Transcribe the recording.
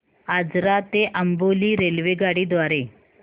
आजरा ते अंबोली रेल्वेगाडी द्वारे